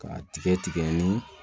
K'a tigɛ tigɛ ni